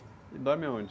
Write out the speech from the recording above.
E dorme aonde?